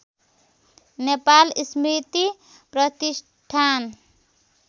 नेपाल स्मृति प्रतिष्ठान